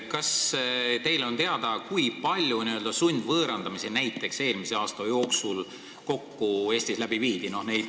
Kas teile on teada, kui palju n-ö sundvõõrandamisi näiteks eelmise aasta jooksul Eestis kokku läbi viidi?